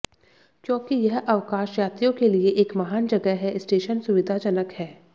क्योंकि यह अवकाश यात्रियों के लिए एक महान जगह है स्टेशन सुविधाजनक है